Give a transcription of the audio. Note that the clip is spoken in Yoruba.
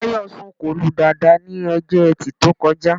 Táyọ̀ sọ̀kò lu Dàda ní Ọjọ́ Ẹtì tó kọjá